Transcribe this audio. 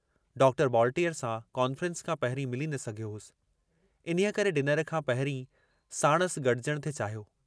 Doctor बॉलटीअर सां conference खां पहिरीं मिली न सघियो हुअसि, इन्हीअ करे डिनर खां पहिरीं साणुसि गजण थे चाहियो।